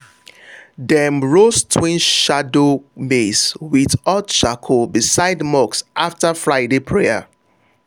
dem roast twin shadow maize with hot charcoal beside mosque after friday prayer.